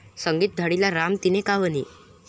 संगीत धाडीला राम तिने का वनी?